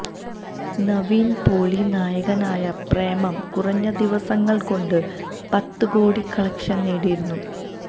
നവിന് പോളി നായകനായ പ്രേമം കുറഞ്ഞ ദിവസങ്ങള് കൊണ്ട് പത്ത് കോടി കലക്ഷന് നേടിയിരുന്നു